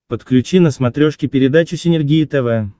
подключи на смотрешке передачу синергия тв